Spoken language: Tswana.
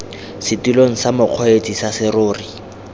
setilong sa mokgweetsi sa serori